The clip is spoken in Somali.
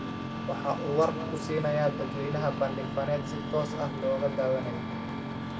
Waxa uu warka ku siiyay dadweynaha bandhig faneed si toos ah looga daawanayay.